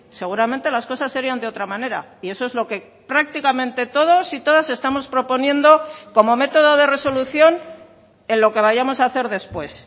seguramente las cosas serían de otra manera y eso es lo que prácticamente todos y todas estamos proponiendo como método de resolución en lo que vayamos a hacer después